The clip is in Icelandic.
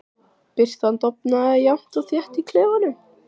Birtan dofnaði jafnt og þétt í klefanum.